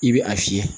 I bɛ a fiyɛ